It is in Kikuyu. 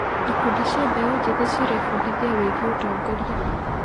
Ikundi cia mbeũ njĩthĩ cirebundithia wĩgiĩ ũtongoria.